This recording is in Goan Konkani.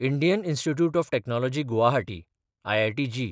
Indian institute of technology Guwahati (IITG)